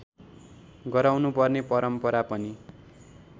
गराउनुपर्ने परम्परा पनि